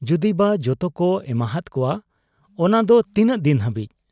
ᱡᱩᱫᱤᱵᱟ ᱡᱚᱛᱚᱠᱚ ᱮᱢᱟᱦᱟᱫ ᱠᱚᱣᱟ, ᱟᱱᱟᱫᱚ ᱛᱤᱱᱟᱹᱜ ᱫᱤᱱ ᱦᱟᱹᱵᱤᱡ ?